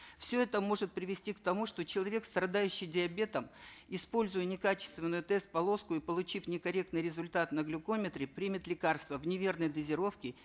все это может привести к тому что человек страдающий диабетом используя некачественную тест полоску и получив некорректный результат на глюкометре примет лекарство в неверной дозировке